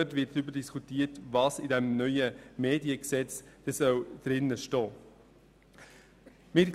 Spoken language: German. Denn dort wird diskutiert werden, was in einem neuen Mediengesetz enthalten sein soll.